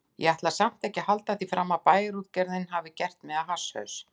Ég ætla samt ekki að halda því fram að Bæjarútgerðin hafi gert mig að hasshaus.